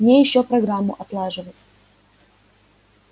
мне ещё программу отлаживать